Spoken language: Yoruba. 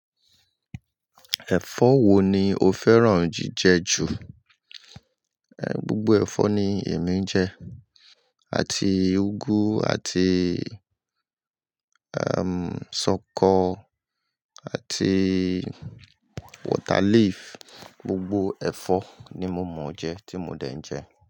Ẹ̀fọ́ wo ni o fẹ́ràn jíjẹ jù? Gbogbo ẹ̀fọ́ ni èmi ń jẹ. Àti úgú àti, ṣọkọ àti water leaf. Gbogbo ẹ̀fọ́ ni mo mọ̀ ọ́ jẹ tí mo dẹ́ ń jẹ.